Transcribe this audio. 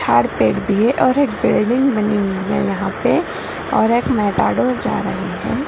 फेक दी है और एक बिल्डिंग बनी हुई है यहां पे और-- जा रही है।